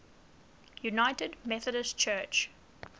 united methodist church